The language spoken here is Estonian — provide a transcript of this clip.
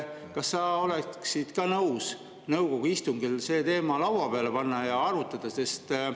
Kas sa oleksid nõus nõukogu istungil selle teema lauale panema ja arutama?